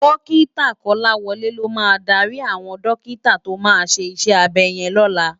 Dòkitá Kolawole ló má dàri áwòn dòkitá tó má ṣé iṣè ábè yèn lòlá